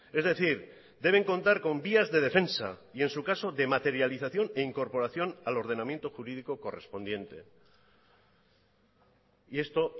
es decir deben contar con vías de defensa y en su caso de materialización e incorporación al ordenamiento jurídico correspondiente y esto